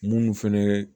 Munnu fɛnɛ ye